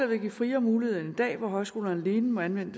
vil give friere mulighed end i dag hvor højskolerne alene må anvende